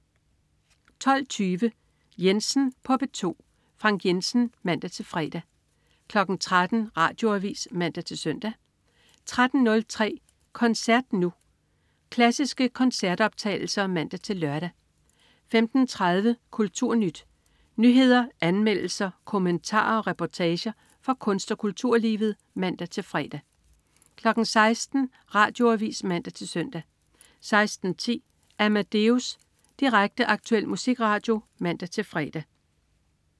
12.20 Jensen på P2. Frank Jensen (man-fre) 13.00 Radioavis (man-søn) 13.03 Koncert Nu. Klassiske koncertoptagelser (man-lør) 15.30 KulturNyt. Nyheder, anmeldelser, kommentarer og reportager fra kunst- og kulturlivet (man-fre) 16.00 Radioavis (man-søn) 16.10 Amadeus. Direkte, aktuel musikradio (man-fre)